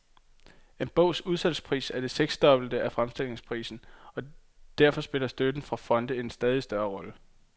En bogs udsalgspris er det seksdobbelte af fremstillingsprisen, og derfor spiller støtten fra fonde en stadig større rolle.